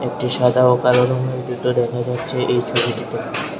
একটি সাদা ও কালো রঙের জুতো দেখা যাচ্ছে এই ছবিটিতে।